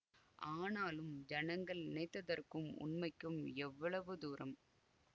ஆனாலும் ஜனங்கள் நினைத்ததற்கும் உண்மைக்கும் எவ்வளவு தூரம்